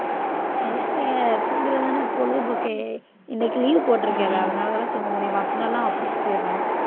என்ன செய்ய தூங்குறதுதானே பொழுதுபோக்கு இன்னைக்கு leave போட்டிருக்கேன்ல அதனாலதான தூங்க முடியும் மத்த நாளெல்லாம் office போயிடறோம்